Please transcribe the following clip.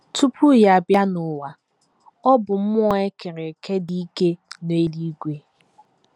Tupu ya abịa n’ụwa, ọ bụ mmụọ e kere eke dị ike n’eluigwe.